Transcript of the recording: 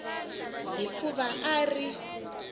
hi ku va a ri